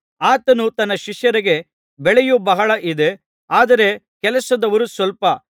ಆತನು ತನ್ನ ಶಿಷ್ಯರಿಗೆ ಬೆಳೆಯು ಬಹಳ ಇದೆ ಆದರೆ ಕೆಲಸದವರು ಸ್ವಲ್ಪ